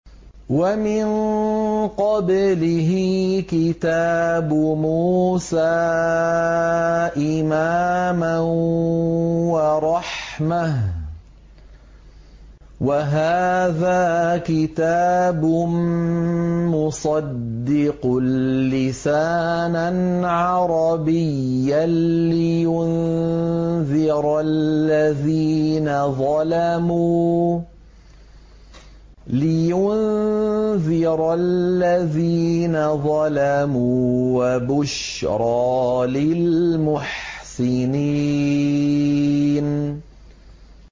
وَمِن قَبْلِهِ كِتَابُ مُوسَىٰ إِمَامًا وَرَحْمَةً ۚ وَهَٰذَا كِتَابٌ مُّصَدِّقٌ لِّسَانًا عَرَبِيًّا لِّيُنذِرَ الَّذِينَ ظَلَمُوا وَبُشْرَىٰ لِلْمُحْسِنِينَ